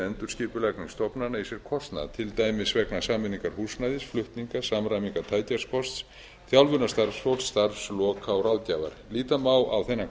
endurskipulagning stofnana í sér kostnað til dæmis vegna sameiningar húsnæðis flutninga samræmingar tækjakosts þjálfunar starfsfólks starfsloka og ráðgjafar líta má á þennan